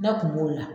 Ne kun b'o la